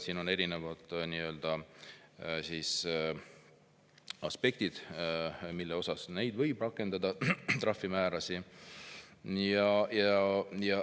Siin on erinevad aspektid, mille puhul neid trahvimäärasid võib rakendada.